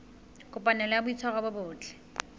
kopanelo ya boitshwaro bo botle